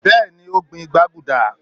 beeni o gbin gbaguda.